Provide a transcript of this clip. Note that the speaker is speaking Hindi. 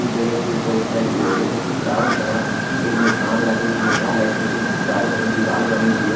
उस जगह के ऊपर स्टैचू है जगह के चारों तरफ एक निशान लगे हुए हैं लाइक जैसे चारों तरफ दीवार बनी हुई है।